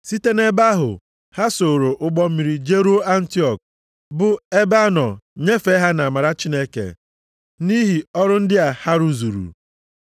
Site nʼebe ahụ, ha sooro ụgbọ mmiri jeruo Antiọk bụ ebe a nọ nyefee ha nʼamara Chineke nʼihi ọrụ ndị a ha rụzuru.